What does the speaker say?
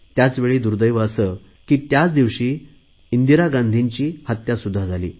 त्याचवेळी दुर्देव असे की त्याच दिवशी इंदिरा गांधींजी यांची हत्यासुध्दा झाली